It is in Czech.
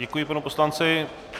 Děkuji panu poslanci.